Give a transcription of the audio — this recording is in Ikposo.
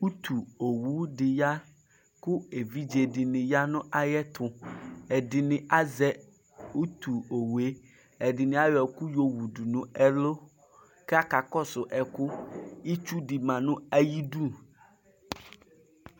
Utu owu di yakʋ evidze dini yanu ayiʋ ɛtuɛɖini azɛ utu owu yɛ ku ɛdini ayɔ ɛku yowu dunu ɛlʋkʋ akakɔsʋ ɛkʋ itsu di ma nu ayiʋ idu